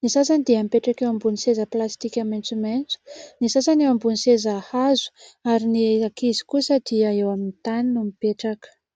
ny sasany dia mipetraka eo ambony seza plastika maintsomaintso, ny sasany eo ambon'ny seza hazo ary ny ankizy kosa dia eo amin'ny tany no mipetraka.